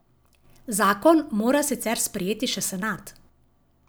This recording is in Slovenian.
Zakon mora sicer sprejeti še senat.